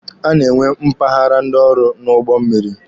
A na-enwe mpaghara ndị ọrụ n'ụgbọ mmịrị.